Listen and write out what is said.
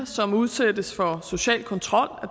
som udsættes for social kontrol